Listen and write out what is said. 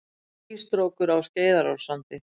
Skýstrókur á Skeiðarársandi.